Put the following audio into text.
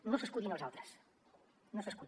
no s’escudi en els altres no s’hi escudi